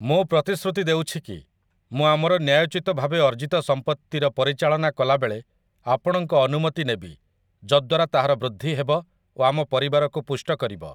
ମୁଁ ପ୍ରତିଶ୍ରୁତି ଦେଉଛି କି, ମୁଁ ଆମର ନ୍ୟାୟୋଚିତ ଭାବେ ଅର୍ଜିତ ସମ୍ପତ୍ତିର ପରିଚାଳନା କଲାବେଳେ ଆପଣଙ୍କ ଅନୁମତି ନେବି, ଯଦ୍ୱାରା ତାହାର ବୃଦ୍ଧି ହେବ ଓ ଆମ ପରିବାରକୁ ପୁଷ୍ଟ କରିବ ।